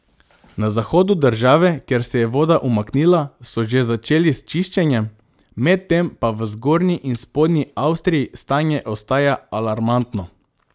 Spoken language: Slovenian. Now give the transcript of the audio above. Na zahodu države, kjer se je voda umaknila, so že začeli s čiščenjem, medtem pa v zgornji in spodnji Avstriji stanje ostaja alarmantno.